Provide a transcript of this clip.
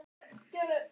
En hún er liðug.